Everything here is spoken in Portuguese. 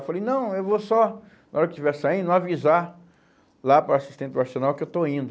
Eu falei, não, eu vou só, na hora que estiver saindo, avisar lá para o assistente do Arsenal que eu estou indo.